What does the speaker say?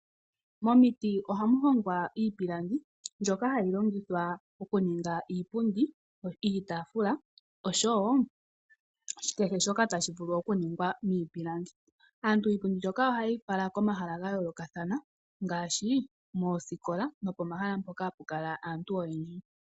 Momiti ohamu hongwa iipilangi mbyoka hayi longithwa okuninga iipundi, iitafula oshowo kehe shoka tashi vulu okuningwa miipilangi. Aantu iipundi mbyoka ohaye yi fala komahala ga yoolokathana ngaashi moosikola nopomahala mpoka hapu kala aantu oyendji.